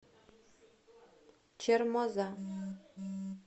чермоза